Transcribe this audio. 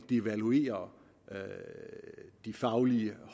devaluere de faglige